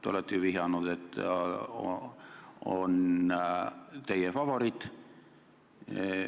Te olete ju viidanud, et ta on teie favoriit.